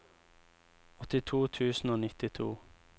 åttito tusen og nittito